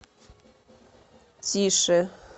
тише